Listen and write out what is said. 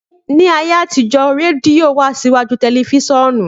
Ni ayé àtijó rẹdìo wá síwájú tẹlifisìonu